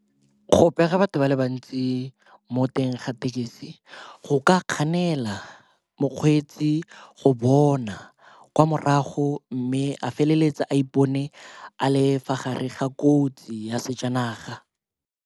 Go pega batho ba le bantsi mo teng ga tekesi go ka kganela mokgweetsi go bona kwa morago mme a feleletse a ipone a le fa gare ga kotsi ya sejanaga.